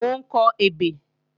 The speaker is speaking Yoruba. Mò ń kọ ebè